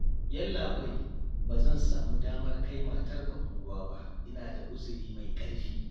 Yallaɓai, ba zan samu damar kai matarka unguwa ba, ina da uzuri mai ƙarfi